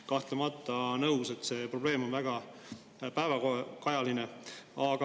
Kahtlemata olen nõus, et see probleem on väga päevakajaline.